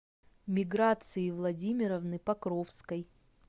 миграции владимировны покровской